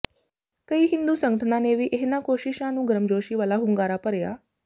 ਕਈ ਹਿੰਦੂ ਸੰਗਠਨਾਂ ਨੇ ਵੀ ਇਹਨਾਂ ਕੋਸ਼ਿਸ਼ਾਂ ਨੂੰ ਗਰਮਜੋਸ਼ੀ ਵਾਲਾ ਹੁੰਗਾਰਾ ਭਰਿਆ